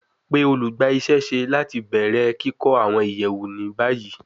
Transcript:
Pe olugbaisese lati bẹrẹ kikọ awọn iyẹwu ni bayi